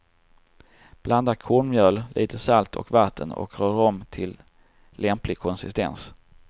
Blanda kornmjöl, lite salt och vatten och rör om till lämplig konsistens.